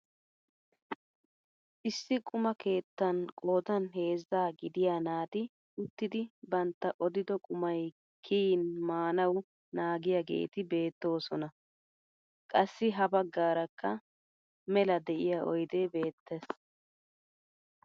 Issi quma keettan qoodan heezzaa gidiyaa naati uttidi bantta odido qumay kiyin maanawu naagiyaageti beettoosona, qassi ha baggaarakka mela de'iyaa oydee beettees.